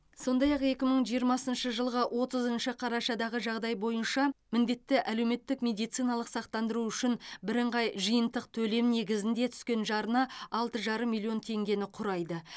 сондай ақ екі мың жиырмасыншы жылғы отызыншы қарашадағы жағдай бойынша міндетті әлеуметтік медициналық сақтандыру үшін бірыңғай жиынтық төлем негізінде түскен жарна алты жарым миллион теңгені құрайды